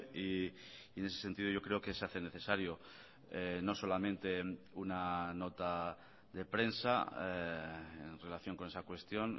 y en ese sentido yo creo que se hace necesario no solamente una nota de prensa en relación con esa cuestión